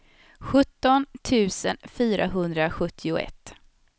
sjutton tusen fyrahundrasjuttioett